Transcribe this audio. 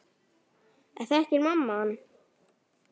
Þekkir mamma hann?